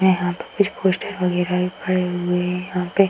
यहां पे कुछ पोस्टर वगैरा भी पड़े हुए हैं। यहाँ पे --